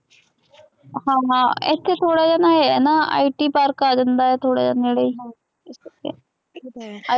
ਹਾਂ ਹਾਂ ਇੱਥੇ ਥੋੜ੍ਹਾ ਜਿਹਾ ਨਾ ਇਹ ਹੈ ਨਾ IT park ਆ ਜਾਂਦਾ ਥੋੜ੍ਹਾ ਜਿਹਾ ਨੇੜੇ